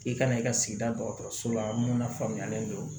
I kana i ka sigida dɔgɔtɔrɔso la mun na faamuyalen don